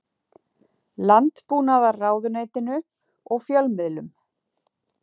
Landbúnaðarráðuneytinu og fjölmiðlum.